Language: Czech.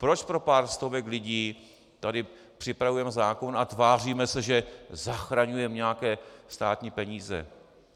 Proč pro pár stovek lidí tady připravujeme zákon a tváříme se, že zachraňujeme nějaké státní peníze?